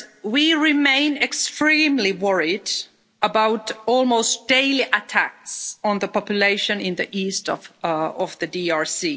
We remain extremely worried about almost daily attacks on the population in the east of the DRC.